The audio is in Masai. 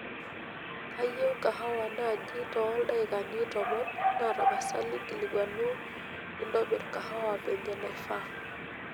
kayieu kahawa naaji too deikani tomon naa tapasali nkilikwanu naitobir kahawa venye nifaa